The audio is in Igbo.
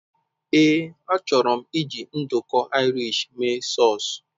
Ee, achọrọ m iji nduku Irish mee sause.